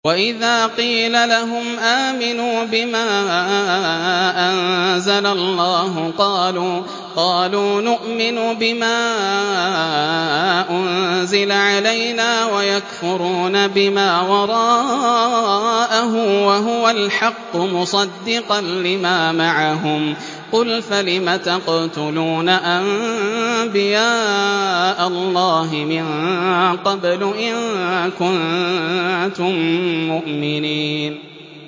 وَإِذَا قِيلَ لَهُمْ آمِنُوا بِمَا أَنزَلَ اللَّهُ قَالُوا نُؤْمِنُ بِمَا أُنزِلَ عَلَيْنَا وَيَكْفُرُونَ بِمَا وَرَاءَهُ وَهُوَ الْحَقُّ مُصَدِّقًا لِّمَا مَعَهُمْ ۗ قُلْ فَلِمَ تَقْتُلُونَ أَنبِيَاءَ اللَّهِ مِن قَبْلُ إِن كُنتُم مُّؤْمِنِينَ